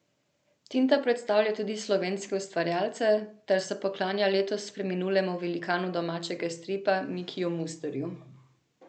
Tinta predstavlja tudi slovenske ustvarjalce ter se poklanja letos preminulemu velikanu domačega stripa Mikiju Mustru.